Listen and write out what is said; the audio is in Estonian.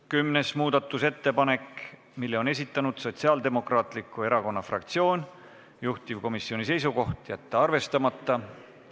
Kümnes muudatusettepanek, mille on esitanud Sotsiaaldemokraatliku Erakonna fraktsioon, juhtivkomisjoni seisukoht: jätta arvestamata.